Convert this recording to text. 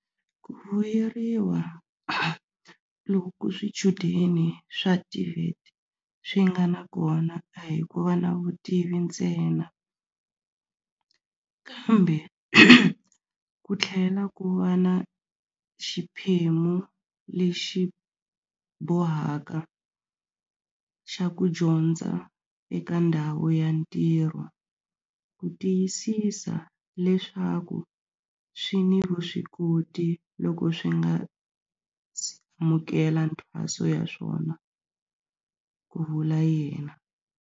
Ku vuyeriwa loku swichudeni swa TVET swi nga na kona a hi ku va na vutivi ntsena, kambe ku tlhela ku va na xiphemu lexi bohaka xa ku dyondza eka ndhawu ya ntirho ku tiyisisa leswaku swi ni vuswikoti loko swi nga si amukela mithwaso ya swona, ku vula yena.